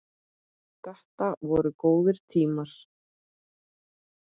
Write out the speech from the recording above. Þetta voru góðir tímar.